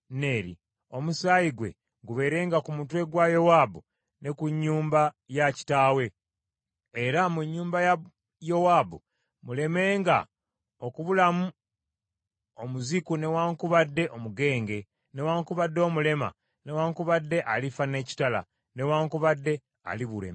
Omusaayi gwe gubeerenga ku mutwe gwa Yowaabu ne ku nnyumba ya kitaawe, era mu nnyumba ya Yowaabu mulemenga okubulamu omuziku newaakubadde omugenge, newaakubadde omulema newaakubadde alifa n’ekitala, newaakubadde alibulwa emmere.”